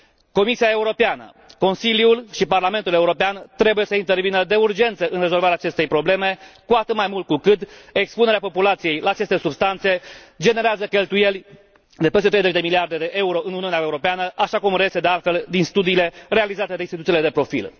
Comisia Europeană, Consiliul și Parlamentul European trebuie să intervină de urgență în rezolvarea acestei probleme, cu atât mai mult cu cât expunerea populației la aceste substanțe generează cheltuieli de peste 30 de miliarde de euro în Uniunea Europeană, așa cum reiese de altfel din studiile realizate de instituțiile de profil.